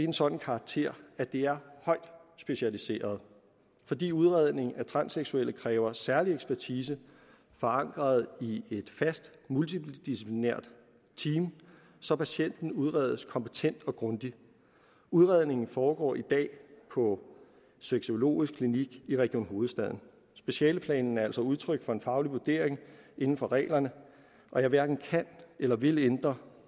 en sådan karakter at det er højt specialiseret fordi udredning af transseksuelle kræver særlig ekspertise forankret i et fast multidiciplinært team så patienten udredes kompetent og grundigt udredningen foregår i dag på sexologisk klinik i region hovedstaden specialeplanen er altså udtryk for en faglig vurdering inden for reglerne og jeg hverken kan eller vil ændre